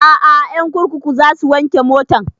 A'a ƴan kurkuku za su wanke motan